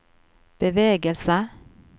bevegelse